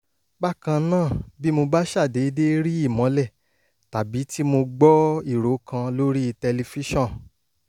bákan náà bí mo bá ṣàdédé rí ìmọ́lẹ̀ tàbí tí mo gbọ́ ìró kan lórí tẹlifíṣòàn